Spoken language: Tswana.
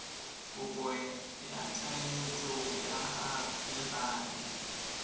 kopo ya ketleetso ya legae